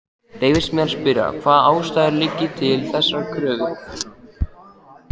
Leyfist mér að spyrja, hvaða ástæður liggi til þessarar kröfu?